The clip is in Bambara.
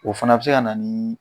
O fana bɛ se ka na ni